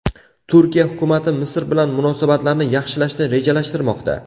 Turkiya hukumati Misr bilan munosabatlarni yaxshilashni rejalashtirmoqda.